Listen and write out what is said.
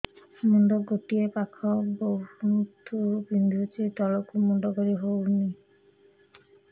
ମୁଣ୍ଡ ଗୋଟିଏ ପାଖ ବହୁତୁ ବିନ୍ଧୁଛି ତଳକୁ ମୁଣ୍ଡ କରି ହଉନି